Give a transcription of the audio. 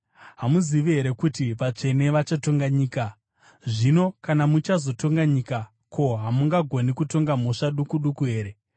Hamuzivi here kuti vatsvene vachatonga nyika? Zvino kana muchazotonga nyika, ko, hamungagoni kutonga mhosva duku duku here?